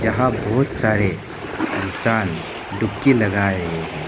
यहां बहुत सारे इंसान डुबकी लगा रहे हैं।